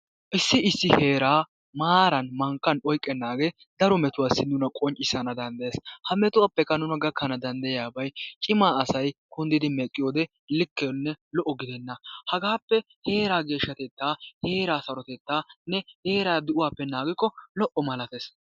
Issi issi heeraa maaran mankkan oyqqennaagee. daro metuwasai nuna qonccissana danddayees. Ha metuwappekka nuna gakkana danddayiyabay, cima asay kunddidi meqqiyode likkenne lo"o gidenna hagaappe heeraa geeshshatettaanne heeraa sarotettaa di'uwappe naagikko lo"o malatees.